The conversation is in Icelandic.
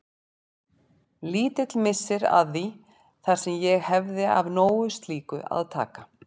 Lítill missir að því þar sem ég hefði af nógu slíku að taka.